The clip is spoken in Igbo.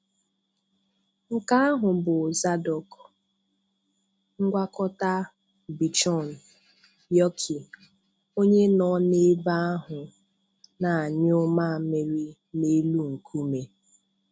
Nke ahụ bụ Zardoz, ngwakọta bichon/yorkie, onye nọ n'ebe ahụ n'anyụ mamịrị n'elu nkume.